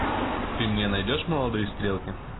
ты мне найдешь молодые стрелки